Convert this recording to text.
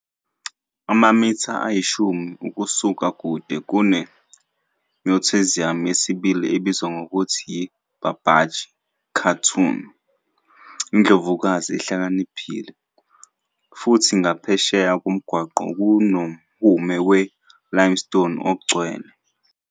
Amamitha ayishumi ukusuka kude kune-mausoleum yesibili ebizwa ngokuthi yi-Babaji Khatun, "indlovukazi ehlakaniphile", futhi ngaphesheya komgwaqo kunomhume we-limestone ongcwele.